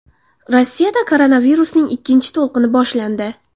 Rossiyada koronavirusning ikkinchi to‘lqini boshlandi.